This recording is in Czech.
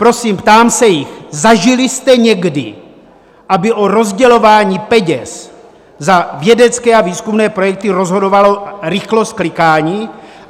Prosím, ptám se jich: Zažili jste někdy, aby o rozdělování peněz za vědecké a výzkumné projekty rozhodovala rychlost klikání?